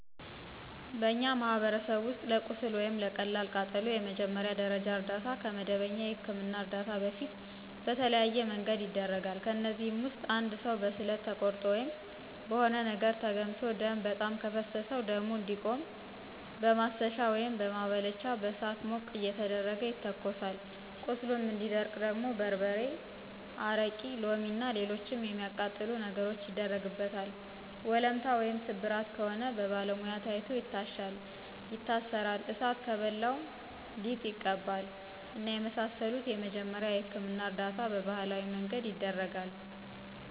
በእኛ ማህበረሰብ ውስጥ ለቁስል ወይም ለቀላል ቃጠሎ የመጀመሪያ ደረጃ እርዳታ ከመደበኛ የህክምና እርዳታ በፊት በተለያዬ መንገድ ይደረጋል። ከእነዚህም ውስጥ እንድ ሰው በስለት ተቆርጦ ወይም በሆነ ነገር ተገምሶ ደም በጣም ከፈሰሰው ደሙ እንዲቆም በማሰሻ ወይም በማባለቻ በእሳት ሞቅ እየተደረገ ይተኮሳል ቁስሉ እንዲደርቅ ደግሞ በርበሬ፣ አረቂ፣ ሎሚ እና ሎሎችንም የሚአቃጥሉ ነገሮችን ይደረግበታል፣ ወለምታ ወይም ስብራት ከሆነ ደግሞ በባለሙያ ታይቶ ይታሻል ይታሰራል፣ እሳት ከበላው ሊጥ ይቀባል እና የመሳሰሉትን የመጀመሪያ የህክምና እርዳታ በባህላዊ መንገድ ይደረጋል።